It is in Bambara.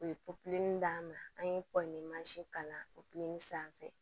U ye d'an ma an ye kɔɲɔ kalan sanfɛ